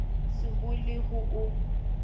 se bo le ho o